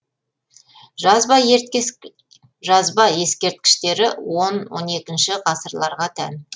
жазба ескерткіштері он он екі ғасырларға тән